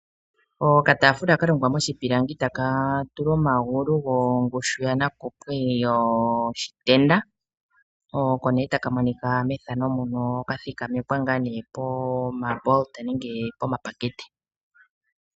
Okataafula kalongwa moshipilangi etaka tulwa omagulu gongushu yanakupwe yoshitenda oko nee taka monika methano muno ka thikamekwa ngaa nee pomabolota nenge poshipakete.